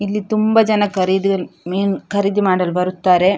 ಇಲ್ಲಿ ತುಂಬ ಜನ ಖರಿ ಮೀನು ಖರೀದಿ ಮಾಡಲು ಬರುತ್ತಾರೆ.